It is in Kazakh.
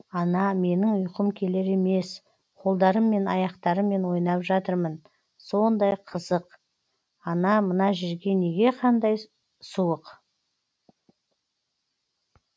ана менің ұйқым келер емес қолдарым мен аяқтарммен ойнап жатырмын сондай қызық ана мына жерге неге қандай суық